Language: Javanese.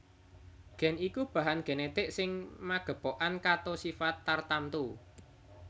Gen iku bahan genetik sing magepokan kato sifat tartamtu